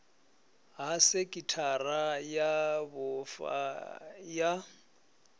ha sekhithara ya vhufa ya